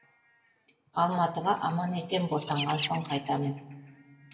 алматыға аман есен босанған соң қайтамын